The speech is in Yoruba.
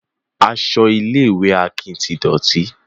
Aṣọ ilé ìwé Akin ti dọ̀tí